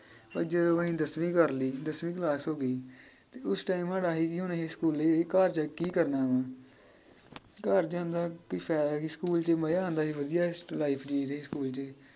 ਪਰ ਜਦੋਂ ਅਸੀ ਦੱਸਵੀਂ ਕਰਲੀ ਦੱਸਵੀਂ ਕਲਾਸ ਹੋਗੀ ਤੇ ਉਸ time ਸਾਡਾ ਆਹੀ ਸੀ ਕਿ ਹੁਣ ਅਸੀ ਸਕੂਲੇ ਘਰ ਜਾ ਕੇ ਕੀ ਕਰਨਾ ਵਾ। ਘਰ ਜਾਂਦਾ ਕੀ ਫਾਇਦਾ ਕੀ ਸਕੂਲ ਚ ਮਜਾ ਆਉਂਦਾ ਸੀ ਵਧੀਆ life ਜੀਇਦੀ ਸੀ ਸਕੂਲ ਚ